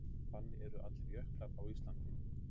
Þannig eru allir jöklar á Íslandi.